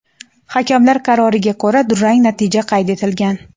hakamlar qaroriga ko‘ra durang natija qayd etilgan.